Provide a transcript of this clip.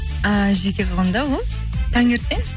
ііі жеке қалғанда вот таңертең